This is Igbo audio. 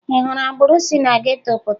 Ị hụrụ agboro si na geto pụta?